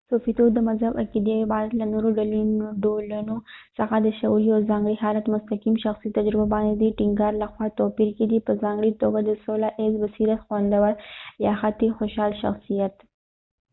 صوفيتوب د مذهب عقیدې او عبادت له نورو ډولونو څخه د شعور یو ځانګړي حالت مستقیم شخصي تجربه باندې د دې ټینګار لخوا توپیر کیدی په ځانګړي توګه د سوله ایز بصیرت خوندور یا حتی خوشحال شخصیت